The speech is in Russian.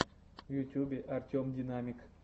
в ютьюбе артем динамик